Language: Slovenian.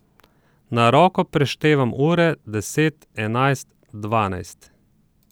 Na roko preštevam ure, deset, enajst, dvanajst.